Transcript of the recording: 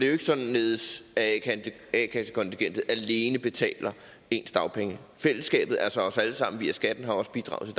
jo ikke således at a kassekontingentet alene betaler ens dagpenge fællesskabet altså os alle sammen via skatten har også bidraget